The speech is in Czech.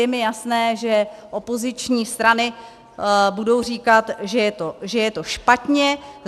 Je mi jasné, že opoziční strany budou říkat, že je to špatně.